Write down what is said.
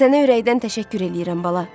Sənə ürəkdən təşəkkür eləyirəm, bala.